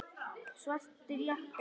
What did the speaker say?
Svartir jakkar.